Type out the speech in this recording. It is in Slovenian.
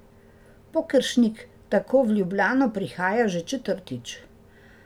Pokeršnik tako v Ljubljano prihaja že četrtič.